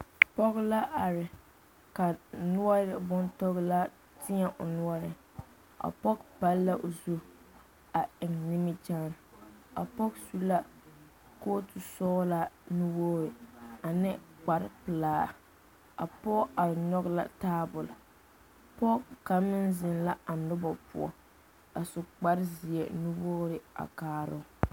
Pɔge la are ka noɔre bontɔglaa teɛ o noɔreŋ a pɔge pall la o zu a eŋ nimikyaane a pɔge su la kootu sɔglaa nuwogre ane kparepelaa a pɔge are nyoge la taabo pɔge kaŋ meŋ zeŋ la a nobɔ poɔ a su kparezeɛ nuwogre a kaaroo.